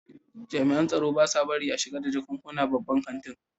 jami'an tsaro ba sa barin a shiga da jakunkuna babban kantin.